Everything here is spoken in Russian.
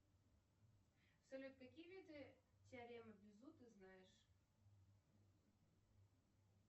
салют какие виды теоремы безу ты знаешь